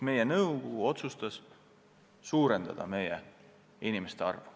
Meie nõukogu otsustas suurendada personali arvu.